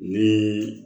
Ni